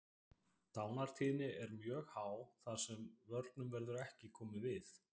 Dánartíðni er mjög há þar sem vörnum verður ekki komið við.